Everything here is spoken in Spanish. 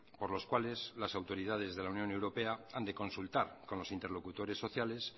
por los cuales las autoridades de la unión europea han de consultar con los interlocutores sociales